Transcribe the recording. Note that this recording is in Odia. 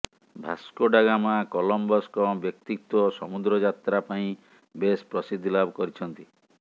ଭାସ୍କୋଡା ଗାମା କଲମ୍ବସଙ୍କ ବ୍ୟକ୍ତିତ୍ୱ ସମୁଦ୍ର ଯାତ୍ରା ପାଇଁ ବେଶ ପ୍ରସିଦ୍ଧି ଲାଭ କରିଛନ୍ତି